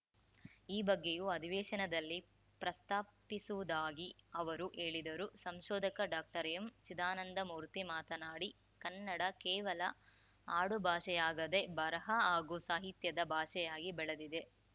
ಈ ಬಗ್ಗೆಯೂ ಅಧಿವೇಶನದಲ್ಲಿ ಪ್ರಸ್ತಾಪಿಸುವುದಾಗಿ ಅವರು ಹೇಳಿದರು ಸಂಶೋಧಕ ಡಾಕ್ಟರ್ಎಂಚಿದಾನಂದಮೂರ್ತಿ ಮಾತನಾಡಿ ಕನ್ನಡ ಕೇವಲ ಆಡುಭಾಷೆಯಾಗದೆ ಬರಹ ಹಾಗೂ ಸಾಹಿತ್ಯದ ಭಾಷೆಯಾಗಿ ಬೆಳೆದಿದೆ